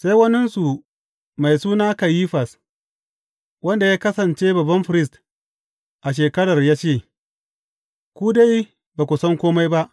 Sai waninsu, mai suna Kayifas, wanda ya kasance babban firist a shekarar ya ce, Ku dai ba ku san kome ba!